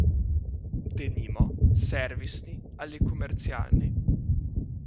Denimo, servisni ali komercialni.